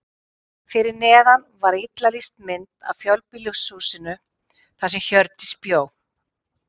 Fyrir neðan var illa lýst mynd af fjölbýlishúsinu þar sem Hjördís bjó.